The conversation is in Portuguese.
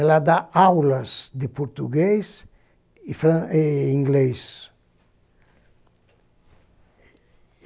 Ela dá aulas de português e fran e inglês.